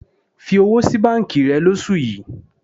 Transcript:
Fi owó sí báńkì rẹ lóṣù yìí.